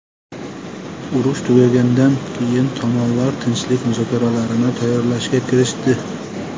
Urush tugaganidan keyin tomonlar tinchlik muzokaralarini tayyorlashga kirishdi.